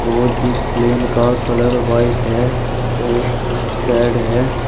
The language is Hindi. और इस प्लेन का कलर व्हाइट है और रेड है।